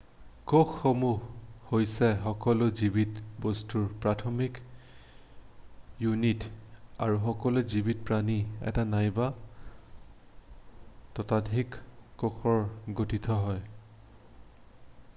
কোষসমূহ হৈছে সকলো জীৱিত বস্তুৰ প্ৰাথমিক ইউনিট আৰু সকলো জীৱিত প্ৰাণী এটা নাইবা ততোধিক কোষেৰে গঠিত হয়